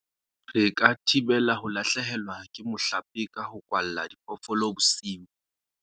re ka thibela ho lahlehelwa ke mohlape ka ho kwalla diphoofolo bosiu